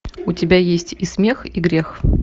у тебя есть и смех и грех